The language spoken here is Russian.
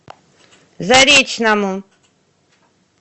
заречному